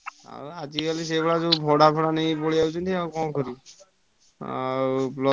ଆଜିକାଲି ସେଇଭଳିଆ ଯୋଉ ଭଡା ଫଡା ନେଇ ପଳେଇଆଉଛନ୍ତି ଆଉ କଣ କରିବ। ଆଉ।